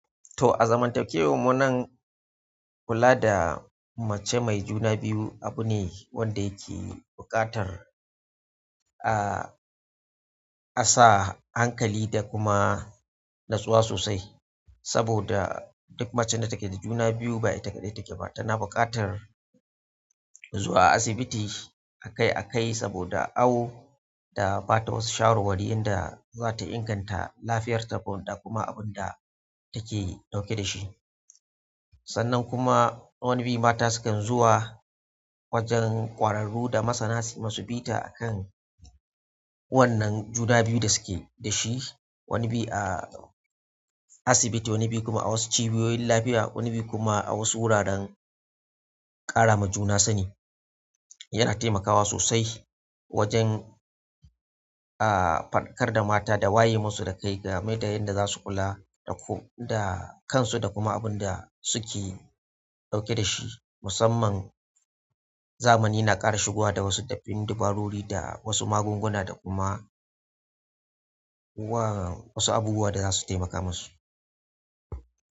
To, a zaman takewar munan kula da mace mai juna biyu abu ne wanda yake buƙatar, a, a sa hankali da kuma natsuwa sosai. Saboda duk macen da take da juna biyu ba ita kaɗai take ba, tana buƙatar. Zuwa asibiti akai-akai saboda awo da bata wasu shawarwari yanda za ta inganta lafiyarta da kuma abunda take ɗauke da shi. Sannan kuma wani bi mata sukan zuwa wajen ƙwararru da masana sui masu bita a kan wannan juna biyu da suke da shi. Wani biyu a asibiti, wani biyu kuma a wasu cibiyoyin lafiya, wani biyu kuma a wasu wuraren ƙara ma juna sani. Yana taimakawa sosai wajen, a, faɗakar da mata da waye musu da kai game da yanda za su kula da ko-- da kansu da kuma abunda suke ɗauke da shi. Musamman zamani na ƙara shigowa da wasu dabin dabarori da wasu magunguna da kuma wa wasu abubuwa da za su taimaka musu.